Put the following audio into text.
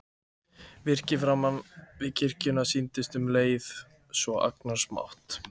Virkið framan við kirkjuna sýndist um leið svo agnarsmátt.